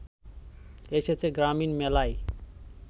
এসেছে গ্রামীণ মেলায়